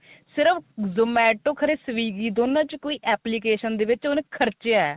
ਸਿਰਫ zomato ਪਤਾ ਨੀ swiggy ਵਿੱਚ ਦੋਨਾ ਚੋ ਕੋਈ application ਦੇ ਵਿੱਚ ਖਰਚਿਆ